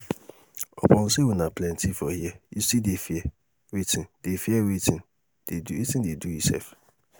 upon say una plenty for here you still dey fear wetin dey fear wetin dey do you sef?